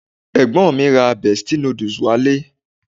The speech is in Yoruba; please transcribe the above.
Ẹ̀gbọ́n mi ra Bestie noodles wá ilé